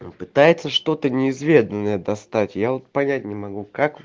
он пытается что-то неизведанное достать я вот понять не могу как